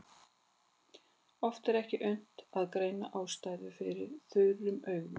Oft er ekki unnt að greina ástæður fyrir þurrum augum.